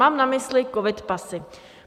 Mám na mysli covid pasy.